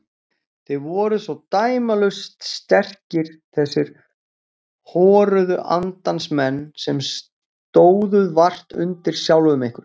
Þið voruð svo dæmalaust sterkir þessir horuðu andans menn sem stóðuð vart undir sjálfum ykkur.